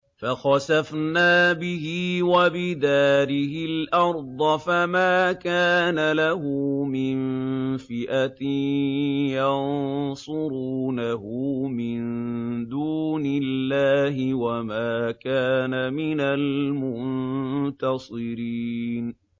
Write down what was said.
فَخَسَفْنَا بِهِ وَبِدَارِهِ الْأَرْضَ فَمَا كَانَ لَهُ مِن فِئَةٍ يَنصُرُونَهُ مِن دُونِ اللَّهِ وَمَا كَانَ مِنَ الْمُنتَصِرِينَ